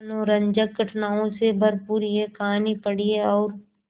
मनोरंजक घटनाओं से भरपूर यह कहानी पढ़िए और